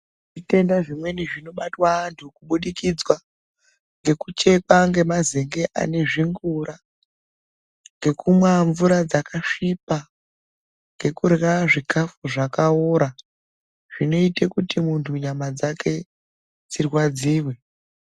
Zvitenda zvimweni zvinobatwa antu kubudikidzwa ngekuchekwa ngemazenge ane zvingura, ngekumwa mvura dzakasvipa, ngekurya zvikafu zvakaora, zvinoite kuti muntu nyama dzake dzirwadziwe.